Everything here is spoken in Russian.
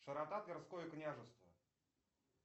широта тверское княжество